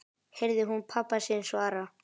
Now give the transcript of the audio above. heyrði hún pabba sinn svara.